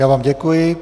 Já vám děkuji.